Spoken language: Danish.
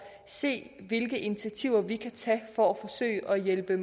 se hvilke initiativer vi kan tage for at forsøge at hjælpe